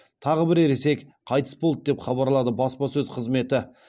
тағы бір ересек қайтыс болды деп хабарлады баспасөз қызметі